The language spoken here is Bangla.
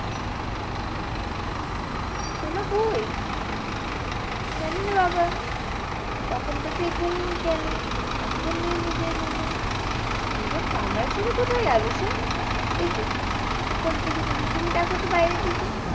সোনা কোই জানি না বাবা তখন তাতে এখানেই গেলো এখন নেই নিজের room এ নিজের কামরা ছেড়ে কোথায় গেলো সে? দেখি উপরের দিকে দেখি তুমি দেখো তো বাইরের দিকে।